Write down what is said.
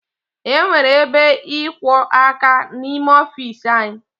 E nwere ebe ịkwọ áká n'ime ọfiisi anyị